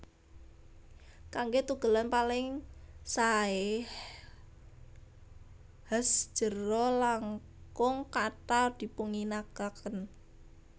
Kanggé tugelan paling saé has jero langkung kathah dipunginakaken